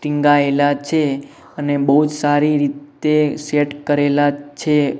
ટીંગાયેલા છે અને બોજ સારી રીતે સેટ કરેલા છે.